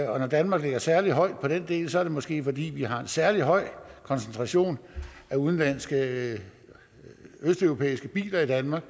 og når danmark ligger særlig højt på den del er det måske fordi vi har en særlig høj koncentration af udenlandske østeuropæiske biler i danmark